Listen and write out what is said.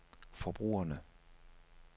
forbrugerne